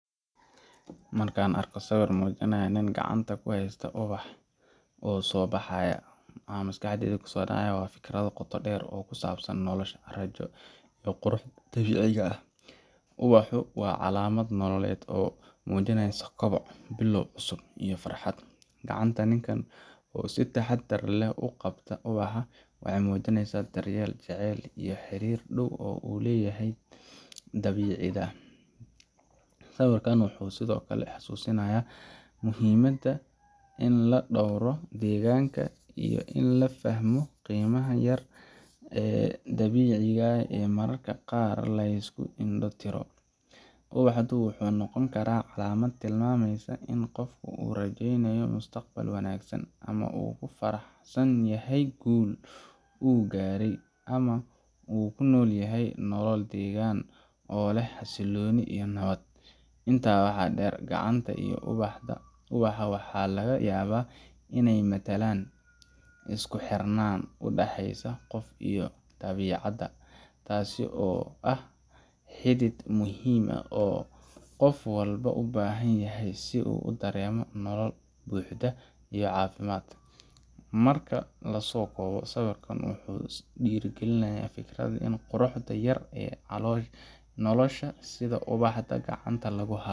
Marka aan arko sawir muujinaya nin gacanta ku haysta ubax soo baxaya, waxa maskaxdayda ku soo dhacaya fikrado qoto dheer oo ku saabsan nolosha, rajo, iyo quruxda dabiiciga ah. Ubaxu waa calaamad nololeed oo muujinaysa koboc, bilow cusub, iyo farxad. Gacanta ninka oo si taxaddar leh u qabata ubaxa waxay muujinaysaa daryeel, jacayl, iyo xiriir dhow oo uu la leeyahay dabiicadda. Sawirkan wuxuu sidoo kale xusuusinayaa muhiimadda in la dhowro deegaanka iyo in la fahmo qiimaha yar ee dabiiciga ah oo mararka qaar la iska indho-tiro. Ubaxdu wuxuu noqon karaa calaamad tilmaamaysa in qofku uu rajeynayo mustaqbal wanaagsan, ama uu ku faraxsan yahay guul uu gaaray, ama uu ku noolyahay nolol deggan oo leh xasilooni iyo nabad. Intaa waxaa dheer, gacanta iyo ubaxa ayaa laga yaabaa inay matalaan isku xirnaanta u dhaxaysa qofka iyo dabiicadda, taas oo ah xidhiidh muhiim ah oo qof walba u baahan yahay si uu u dareemo nolol buuxda iyo caafimaad. Marka la soo koobo, sawirkan wuxuu ku dhiirrigelinayaa fikrada ah in quruxda yar yar ee nolosha, sida ubaxa gacanta lagu hayo